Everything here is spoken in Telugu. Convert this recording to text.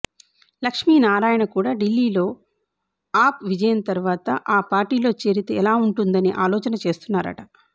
లక్ష్మీనారాయణ కూడా ఢిల్లీలో ఆప్ విజయం తర్వాత ఆ పార్టీలో చేరితే ఎలా ఉంటుందనే ఆలోచన చేస్తున్నారట